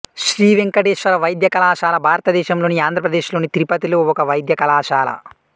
శ్రీ వెంకటేశ్వర వైద్య కళాశాల భారతదేశంలోని ఆంధ్రప్రదేశ్ లోని తిరుపతిలో ఒక వైద్య కళాశాల